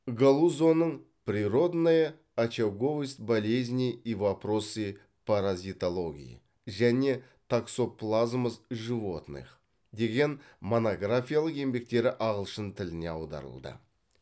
галузоның природная очаговость болезней и вопросы паразитологии және токсоплазмоз животных деген монографиялық еңбектері ағылшын тіліне аударылды